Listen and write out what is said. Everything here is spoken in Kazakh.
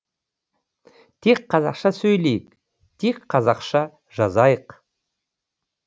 тек қазақша сөйлейік тек қазақша жазайық